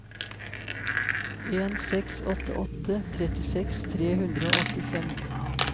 en seks åtte åtte trettiseks tre hundre og åttifem